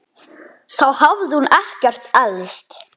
Þá hafði hún ekkert elst.